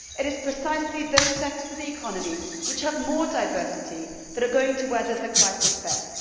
It is precisely those sectors of the economy which have more diversity that are going to weather the crisis best.